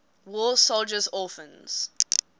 war soldiers orphans